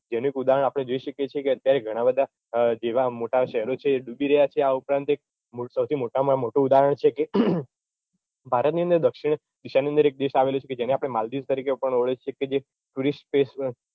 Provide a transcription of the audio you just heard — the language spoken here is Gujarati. જેનું એક ઉદાહરણ આપણે જોઈ શકીએ છીએ કે અત્યારે ઘણા બધાં જેવાં મોટા શહેરો છે ડૂબી રહ્યાં છે આ ઉપરાંત એક સૌથી મોટામાં મોટું ઉદાહરણ છે કે ભારતની અંદર દક્ષિણ દિશાની અંદર એક દેશ આવેલો છે કે જેને આપણે માલદીવ તરીકે પણ ઓળખીએ છીએ કે જે tourist place